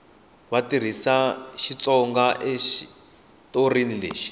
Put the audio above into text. va tirhisa xitsonga ekaxitori lexi